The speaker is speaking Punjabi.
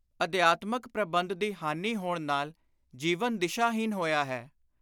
ਅਧਿਆਤਮਕ ਪ੍ਰਬੰਧ ਦੀ ਹਾਨੀ ਹੋਣ ਨਾਲ ਜੀਵਨ ਦਿਸ਼ਾ-ਹੀਣ ਹੋਇਆ ਹੈ